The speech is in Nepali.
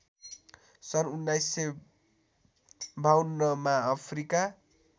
सन् १९५२ मा अफ्रिका